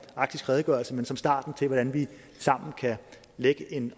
arktisk redegørelse men som starten til hvordan vi sammen kan lægge en